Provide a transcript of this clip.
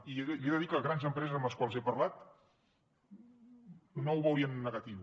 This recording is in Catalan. i li he de dir que grans empreses amb les quals he parlat no ho veurien negatiu